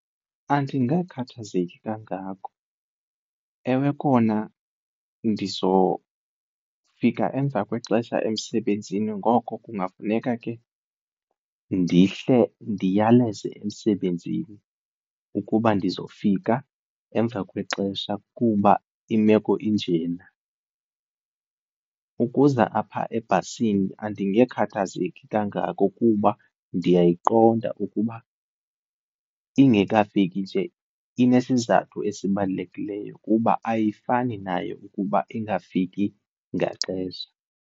Andingakhathazeki kangako. Ewe, kona ndizofika emva kwexesha emsebenzini ngoko kungafuneka ke ndihle ndiyaleze emsebenzini ukuba ndizofika emva kwexesha kuba imeko injena. Ukuza apha ebhasini andingekhathazeki kangako kuba ndiyayiqonda ukuba ingekafiki nje inesizathu esibalulekileyo kuba ayifani nayo ukuba ingafiki ngaxesha.